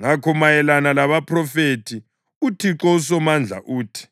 Ngakho, mayelana labaphrofethi uThixo uSomandla uthi: